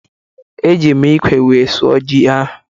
Eji m ịkwe wee sụọ ji ahụ